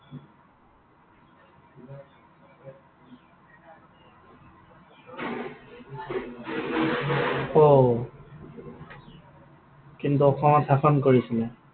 ঔ। কিন্তু অসমত শাসন কৰিছিলে?